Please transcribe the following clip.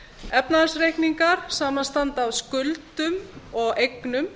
efnahagsreikningar samanstanda af skuldum og eignum